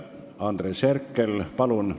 Andres Herkel, palun!